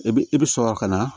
I bi i bi sɔrɔ ka na